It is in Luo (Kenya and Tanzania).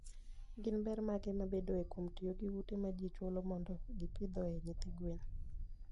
Gin ber mage mabedoe kuom tiyo gi ute ma ji chulo mondo gipidhoe nyithi gwen?